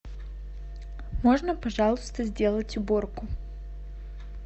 можно пожалуйста сделать уборку